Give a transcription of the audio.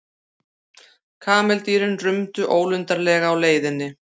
Kameldýrin rumdu ólundarlega á leiðinni.